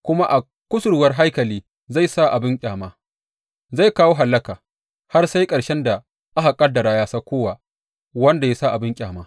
Kuma a kusurwar haikali zai sa abin ƙyama mai kawo hallaka, har sai ƙarshen da aka ƙaddara ya auko wa wanda ya sa abin ƙyama.